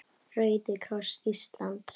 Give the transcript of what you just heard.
Rauði kross Íslands